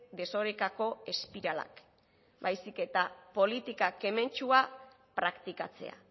desorekako espiralak baizik eta politika kementsua praktikatzea